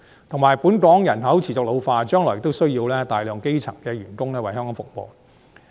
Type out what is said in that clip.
同時，本港人口持續老化，將來亦需要大量基層員工為香港服務。